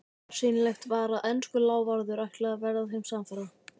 Bersýnilegt var að enskur lávarður ætlaði að verða þeim samferða.